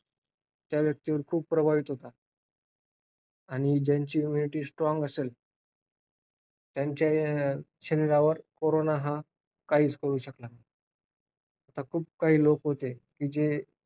त्या व्यक्तीवर तो प्रभावी होतो. आणि ज्यांची immunity strong असेल त्यांच्या शरीरावर कोरोना हा काहीच करू शकत नाही. तर खूप काही लोक होते जे,